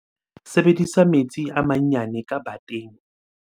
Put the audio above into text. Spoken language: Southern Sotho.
Sebedisa metsi a manyane ka bateng.